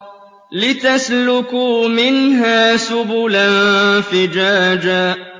لِّتَسْلُكُوا مِنْهَا سُبُلًا فِجَاجًا